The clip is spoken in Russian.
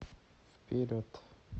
вперед